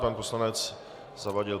Pan poslanec Zavadil.